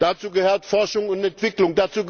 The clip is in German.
dazu gehört Forschung und Entwicklung